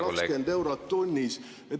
… 220 eurot tunnis.